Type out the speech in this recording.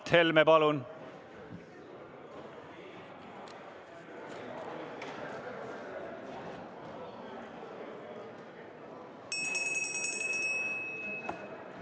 Mart Helme, palun!